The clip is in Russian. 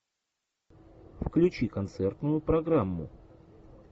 включи концертную программу